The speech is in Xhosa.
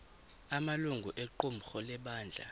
amalungu equmrhu lebandla